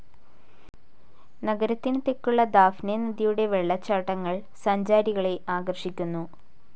നഗരത്തിനു തെക്കുള്ള ദാഫ്നെ നദിയുടെ വെള്ളച്ചാട്ടങ്ങൾ സഞ്ചാരികളെ ആകർഷിക്കുന്നു.